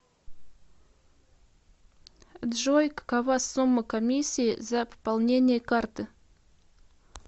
джой какова сумма комиссии за пополнение карты